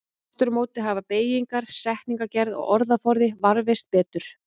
Aftur á móti hafa beygingar, setningagerð og orðaforði varðveist betur.